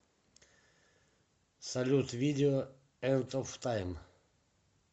салют видео энд оф тайм